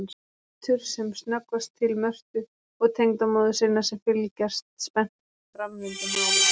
Lítur sem snöggvast til Mörtu og tengdamóður sinnar sem fylgjast spenntar með framvindu mála.